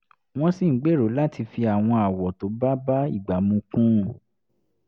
wọ́n sì ń gbèrò láti fi àwọn àwọ̀ tó bá bá ìgbà mu kún un